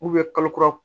kalo kura